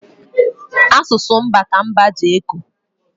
Asụsụ mba ka mba ji eko